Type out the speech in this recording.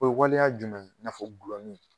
O ye waleya jumɛn ye? N'a fɔ gulɔmin .